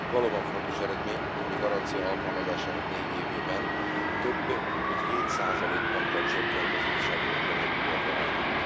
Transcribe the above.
Valóban fontos eredmény, hogy a garancia alkalmazásának négy évében több mint 7 százalékponttal csökkent az ifjúsági munkanélküliek aránya.